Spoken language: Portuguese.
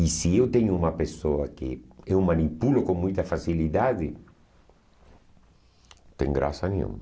E se eu tenho uma pessoa que eu manipulo com muita facilidade, não tem graça nenhuma.